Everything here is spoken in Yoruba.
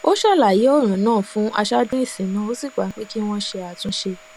ó ṣàlàyé òràn náà fún aṣáájú ìsìn náà ó sì gbà pé kí wón ṣe àtúnṣe